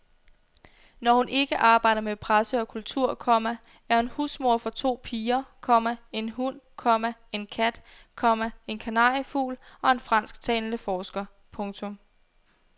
Når hun ikke arbejder med presse og kultur, komma er hun husmor for to piger, komma en hund, komma en kat, komma en kanariefugl og en fransktalende forsker. punktum